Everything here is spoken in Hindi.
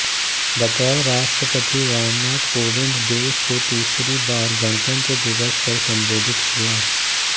बतौर राष्ट्रपति रामनाथ कोविंद देश को तीसरी बार गणतंत्र दिवस पर संबोधित किया